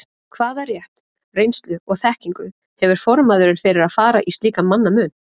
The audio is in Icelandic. Hvaða rétt, reynslu og þekkingu hefur formaðurinn fyrir að fara í slíkan mannamun?